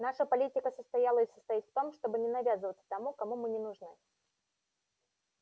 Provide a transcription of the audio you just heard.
наша политика состояла и состоит в том чтобы не навязываться тому кому мы не нужны